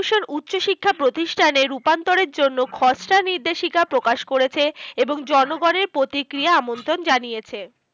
উচ্চশিক্ষা প্রতিষ্ঠানে রূপান্তরের জন্য খসড়া নির্দেশিকা প্রকাশ করেছে। এবং জনগণের প্রতিক্রিয়া আমন্ত্রণ জানিয়েছে।